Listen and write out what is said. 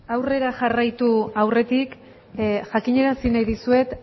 aurrera jarraitu aurretik jakinaraziko nahi dizuet